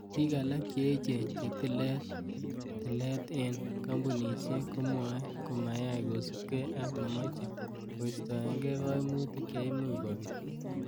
Bik alak che echen che tilet tilet en kompunosiek, komwee komayai kosiibge ak nemoche koistoenge koimutik cheimuch kobit.